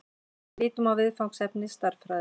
Lítum á viðfangsefni stærðfræðinnar.